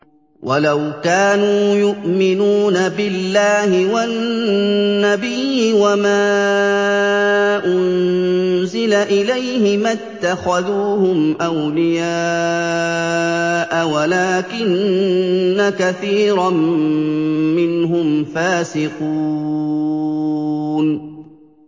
وَلَوْ كَانُوا يُؤْمِنُونَ بِاللَّهِ وَالنَّبِيِّ وَمَا أُنزِلَ إِلَيْهِ مَا اتَّخَذُوهُمْ أَوْلِيَاءَ وَلَٰكِنَّ كَثِيرًا مِّنْهُمْ فَاسِقُونَ